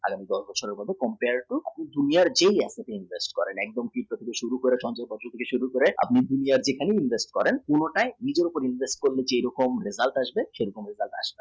যে কোনো professional আপনার junior যে হোক সব invest করে পুরো নিজের উপর invest করলে যা হয়